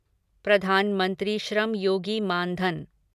Pradhan Mantri Shram Yogi Maan Dhan